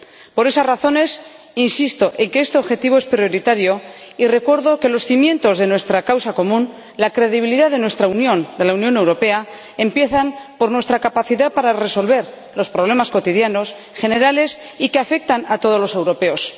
Por esas razones, insisto en que este objetivo es prioritario y recuerdo que los cimientos de nuestra causa común, la credibilidad de nuestra Unión —de la Unión Europea—, empiezan por nuestra capacidad para resolver los problemas cotidianos generales y que afectan a todos los europeos.